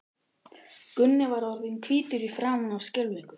Gunni var orðinn hvítur í framan af skelfingu.